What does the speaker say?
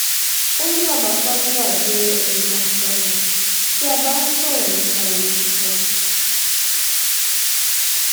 ó ní baba fagunwa jẹ ẹni takuntakun tí a bá ń sọrọ nípa ìwé kíkọ